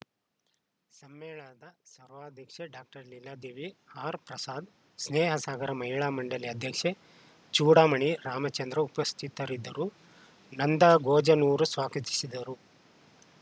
ಸಮ್ಮೇಳನದ ಸರ್ವಾಧ್ಯಕ್ಷೆ doctor Leeladevi R Prasad Snehasagara Mahila Mandali ಅಧ್ಯಕ್ಷೆ ಚೂಡಾಮಣಿ ರಾಮಚಂದ್ರ ಉಪಸ್ಥಿತರಿದ್ದರು ನಂದಾ ಗೊಜನೂರು ಸ್ವಾಕತಿಸಿದರು